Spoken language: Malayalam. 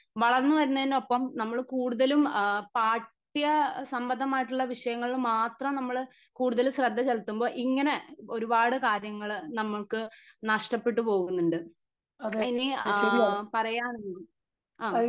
വളർന്നു വരുന്നതിനൊപ്പം നമ്മൾ കൂടുതലും അഹ് പാഠ്യ സംബന്ധമായിട്ടുള്ള വിഷയങ്ങളിൽ മാത്രം നമ്മൾ കൂടുതൽ ശ്രദ്ധ ചെലത്തുമ്പോ ഇങ്ങനെ ഒരുപാട് കാര്യങ്ങള് നമുക്ക് നഷ്ടപ്പെട്ട് പോകുന്നുണ്ട് ഇനി ആഹ്മ് പറയാൻ അഹ്